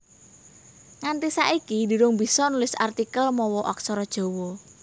Nganti saiki durung bisa nulis artikel mawa Aksara Jawa